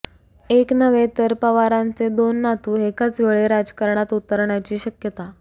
एक नव्हे तर पवारांचे दोन नातू एकाच वेळी राजकारणात उतरण्याची शक्यता